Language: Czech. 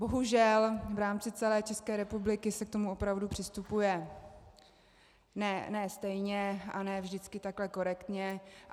Bohužel v rámci celé České republiky se k tomu opravdu přistupuje ne stejně a ne vždycky takhle korektně.